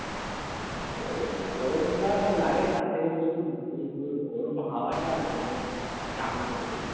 গরম গরম জানা লাগে তার চেয়ে বেশি ওই গরম হাওয়াটা আর তোর চামড়া পড়ে